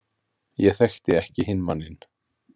Ég þekkti ekki hinn manninn.